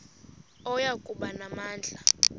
oya kuba namandla